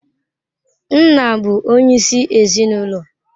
Nna bụ onyeisi ezinụlọ.